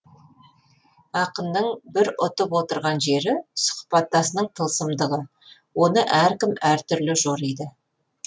ақынның бір ұтып отырған жері сұхбаттасының тылсымдығы оны әркім әр түрлі жориды